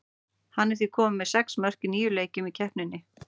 Hann er því kominn með sex mörk í níu leikjum í keppninni.